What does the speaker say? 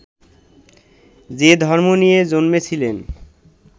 যে ধর্ম নিয়ে জন্মেছিলেন